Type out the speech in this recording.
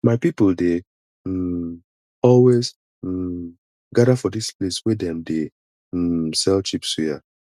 my people dey um always um gather for dis place wey dem dey um sell cheap suya